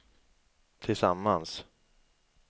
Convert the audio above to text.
tillsammans